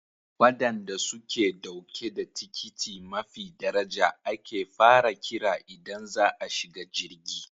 Wadanda suke dauke da tikiti mafi daraja ake fara kira idan za a shiga jirgi.